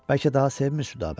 Bəlkə daha sevmir Südabəni.